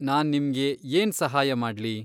ನಾನ್ ನಿಮ್ಗೆ ಏನ್ ಸಹಾಯ ಮಾಡ್ಲಿ?